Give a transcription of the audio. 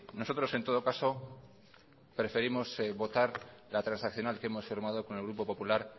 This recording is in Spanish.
nosotros en todo caso preferimos votar la transaccional que hemos firmado con el grupo popular